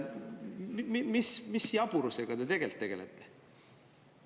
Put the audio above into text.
Mis jaburusega te tegelikult tegelete?